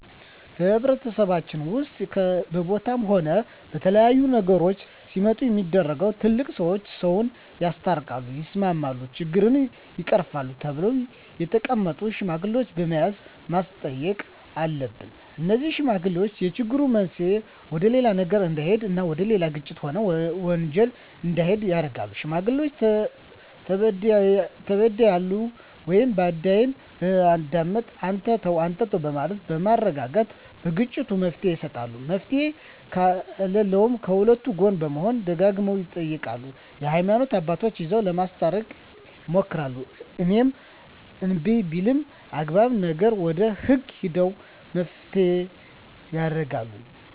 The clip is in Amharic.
በማህበረሰባችን ውስጥም በቦታም ሆነ በተለያዩ ነገሮች ሲመጡ ሚደረገው ትላልቅ ሰዎች ሰውን ያስታርቃል ያስማማሉ ችግሮችን ይቀርፋሉ ተብለው የተቀመጡ ሽማግሌዎች በመያዝ ማስተየቅ አሉብን እነዜህ ሽማግሌዎች የችግሩ መንሰየ ወደሌላ ነገር እዳሄድ እና ወደሌላ ግጭት ሆነ ወንጀል እንዲሄድ ያረጋሉ ሽማግሌዎች ተበድያለሁ ወይም በዳይን በማዳመጥ አንተ ተው አንተም በማለት በማረጋጋት ለግጭቱ መፍትሔ ይሰጣሉ መፍትሔ ከለለውም ከሁለቱ ጎን በመሆን ደጋግመው ይጠይቃሉ የሀይማኖት አባቶቻቸው ይዘው ለማስታረቅ ይሞክራሉ እሄም እንብይ ቢልም አግባብ ነገር ወደ ህግ ሄደው መፋተየ ያረጋሉ